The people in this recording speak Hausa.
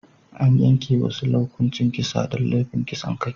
An yanke wa Sule hukuncin kisa don laifin kisan kai.